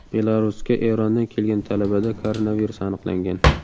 Belarusga Erondan kelgan talabada koronavirus aniqlangan .